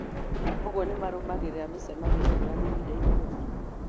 Ũguo nĩmarũmagĩrĩra mĩcemanio ngũrani ihindainĩ rĩmwe